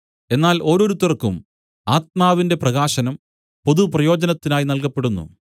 എന്നാൽ ഓരോരുത്തർക്കും ആത്മാവിന്റെ പ്രകാശനം പൊതുപ്രയോജനത്തിനായി നല്കപ്പെടുന്നു